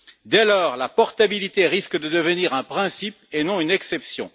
Dès lors, la portabilité risque de devenir un principe et non une exception.